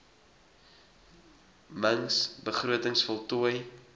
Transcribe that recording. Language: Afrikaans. mings begrotings voltooi